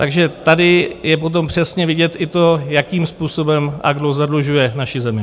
Takže tady je potom přesně vidět i to, jakým způsobem a kdo zadlužuje naši zemi.